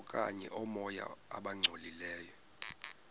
okanye oomoya abangcolileyo